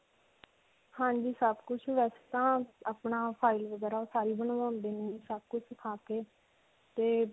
ਹਾਂਜੀ ਸਭ ਕੁਝ, ਵੈਸੇ ਤਾਂ ਅਪਣਾ file ਵਗੈਰਾ ਸਾਰੀ ਬਣਵਾਉਂਦੇ ਨੇ. ਸਭ ਕੁਝ ਸਿਖਾ ਕੇ ਤੇ.